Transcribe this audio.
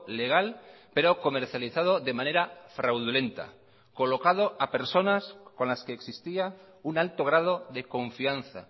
legal pero comercializado de manera fraudulenta colocado a personas con las que existía un alto grado de confianza